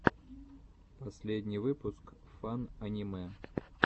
последний выпуск фан аниме